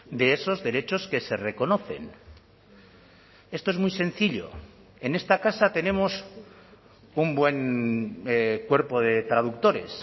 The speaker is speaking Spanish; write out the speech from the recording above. de esos derechos que se reconocen esto es muy sencillo en esta casa tenemos un buen cuerpo de traductores